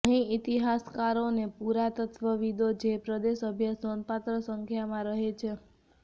અહીં ઇતિહાસકારો અને પુરાતત્વવિદો જે પ્રદેશ અભ્યાસ નોંધપાત્ર સંખ્યામાં રહે છે